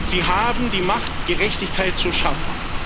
Sie haben die Macht, Gerechtigkeit zu schaffen.